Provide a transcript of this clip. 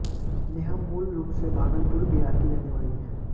नेहा मूल रूप से भागलपुर बिहार की रहने वाली है